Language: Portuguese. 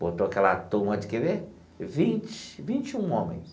Botou aquela turma de, quer ver, vinte, vinte e um homens.